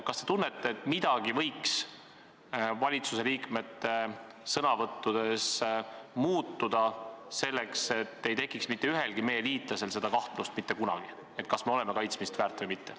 Kas te tunnete, et midagi võiks ministrite sõnavõttudes muutuda, kui me soovime, et ühelgi liitlasel ei tekiks mitte kunagi kahtlust, et me oleme kaitsmist väärt?